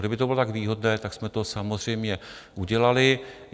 Kdyby to bylo tak výhodné, tak jsme to samozřejmě udělali.